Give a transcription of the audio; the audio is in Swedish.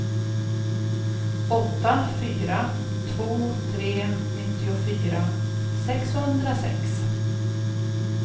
åtta fyra två tre nittiofyra sexhundrasex